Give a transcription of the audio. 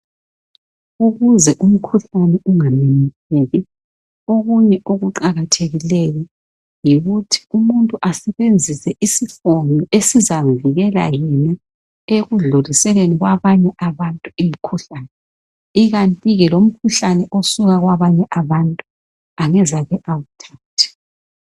Ukuze umkhuhlane ungamemetheki ,okunye okuqakathekileyo yikuthi umuntu asebenzise isifonyo .Esizamvikela yena ekudluliseleni kwabanye abantu imikhuhlane ,ikantike lomkhuhlane osuka kwabanye abantu angezake awuthathe.